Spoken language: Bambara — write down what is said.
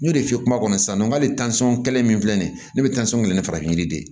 N y'o de f'i ye kuma kɔnɔ sisan n k'ale tansɔn kɛlen min filɛ nin ye ne bɛ tansɔn kɛ ni farafin yiri de ye